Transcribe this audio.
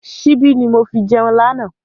Síbi ni mo fi jẹun lànà